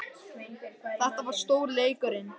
Þetta var stóri leikurinn